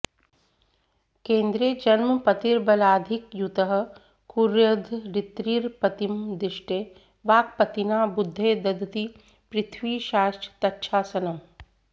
केन्द्रे जन्मपतिर्बलाधिकयुतः कुर्यद्धरित्रीर्पतिं दृष्टे वाक्पतिना बुधे दधति पृथ्वीशाश्च तच्छासनम्